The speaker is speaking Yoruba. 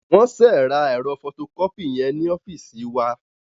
Wọ́n ṣe ra ẹ̀rọ fọtokọ́pì yẹn ní ọ́fíìsì wa.